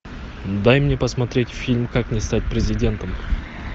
дай мне посмотреть фильм как не стать президентом